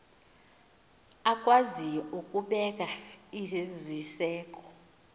akwaziyo ukubeka iziseko